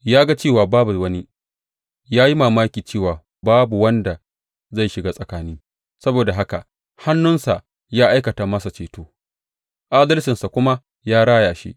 Ya ga cewa babu wani, ya yi mamaki cewa babu wanda zai shiga tsakani; saboda haka hannunsa ya aikata masa ceto, adalcinsa kuma ya raya shi.